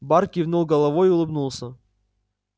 бар кивнул головой и улыбнулся